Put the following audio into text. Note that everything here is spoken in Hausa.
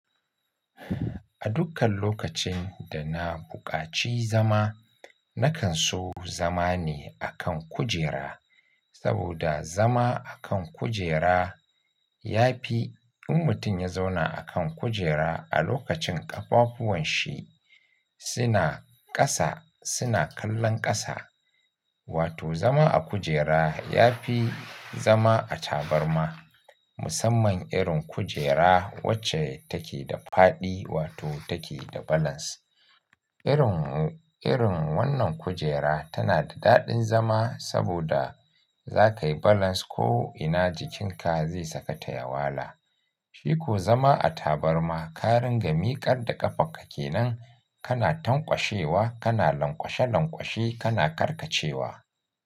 A dukkan lokacin da na buƙaci zama, na kan so zama ne a kan kujera. Saboda zama a kan kujera ya fi in mutum ya zauna a kan kujera a lokacin ƙafafuwan shi suna ƙasa suna kallon ƙasa, wato zama a kujera ya fi zama a tabarma. Musamman irin kujera wacce take da faɗi wato take da balance. Irin, irin wannan kujera tana da daɗin zama saboda za ka yi balance ko'ina jikinka zai sakata yawala. Shi ko zama a tabarma, ka ringa miƙar da ƙafan ka ke nan, kana tanƙwashewa, kana lanƙwashe lanƙwashe, kana karkacewa.